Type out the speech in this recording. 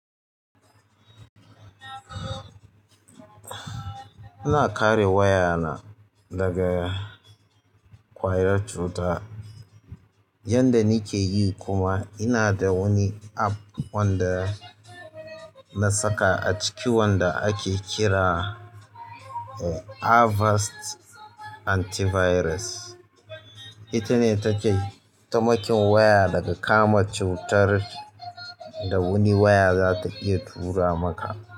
Ina kare wayana daga ƙwayar cuta yanda nike yi kuma ina da wani app wanda na saka a ciki wanda ake kira da avast anti virus ita ne take taimakin waya daga kama cutar da wani waya za ta iya tura maka.